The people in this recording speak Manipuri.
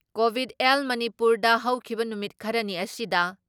ꯀꯣꯚꯤꯠ ꯑꯦꯜ ꯃꯅꯤꯄꯨꯔꯗ ꯍꯧꯈꯤꯕ ꯅꯨꯃꯤꯠ ꯈꯔꯅꯤ ꯑꯁꯤꯗ